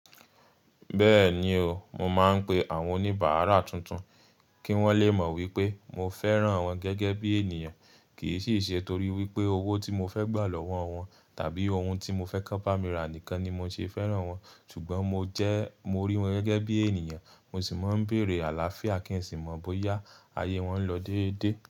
Bẹ́ẹ̀ni o, mo máa ń pe àwọn oníbàárà tuntun kí wọ́n le mọ̀ wípé mo fẹ́ràn wọn gẹ́gẹ́ bí ènìyàn kì í sì ṣe torí wípé owó tí mo fẹ́ gbà lọ́wọ́ wọn tàbí ohun tí mo fẹ́ k'wọ́n bá mira nìkan ni mo ṣe fẹ́ràn wọn. Ṣùgbọ́n mo jẹ́, mo rí wọn gẹ́gẹ́ bí ènìyàn, mo sì máa ń béèrè àlàáfíà kí n sì mọ̀ bóyá ayé wọn ń lọ déédé.